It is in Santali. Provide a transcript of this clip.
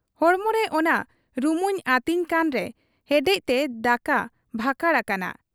ᱦᱚᱲᱢᱚᱨᱮ ᱚᱱᱟ ᱨᱩᱢᱩᱧ ᱟᱹᱛᱤᱧ ᱠᱟᱱᱨᱮ ᱦᱮᱰᱮᱡᱛᱮ ᱫᱟᱠᱟ ᱵᱷᱟᱠᱟᱲ ᱟᱠᱟᱱᱟ ᱾